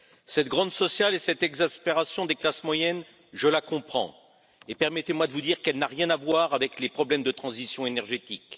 Cette grogne sociale et cette exaspération des classes moyennes, je les comprends et permettez moi de vous dire qu'elles n'ont rien à voir avec les problèmes de transition énergétique.